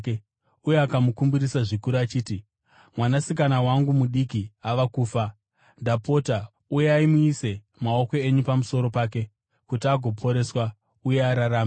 uye akamukumbirisa zvikuru achiti, “Mwanasikana wangu mudiki ava kufa. Ndapota uyai muise maoko enyu pamusoro pake kuti agoporeswa uye ararame.”